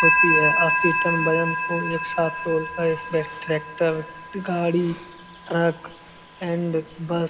होती है एक साथ तोलता है इसमें ट्रेक्टर गाड़ी ट्रक एंड बस --